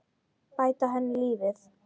Bæta henni lífið.